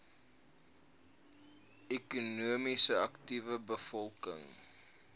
ekonomies aktiewe bevolking